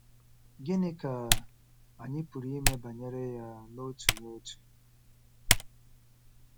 Gịnị ka anyị pụrụ ime banyere ya n'otu n'otu?